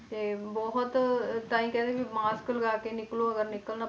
ਤੇ ਬਹੁਤ ਤਾਂ ਹੀ ਕਹਿ ਰਹੇ ਵੀ mask ਲਗਾ ਕੇ ਨਿਕਲੋ ਅਗਰ ਨਿਕਲਣਾ,